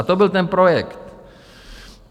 A to byl ten projekt.